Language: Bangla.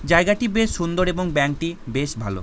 জায়গাটি বেশ সুন্দর এবং ব্যাংক টি বেশ ভালো।